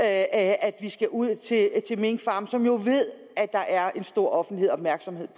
at vi skal ud til minkfarme som jo ved at der er en stor offentlig opmærksomhed